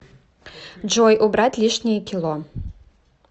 джой убрать лишние кило